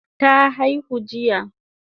Ta aihu jiya?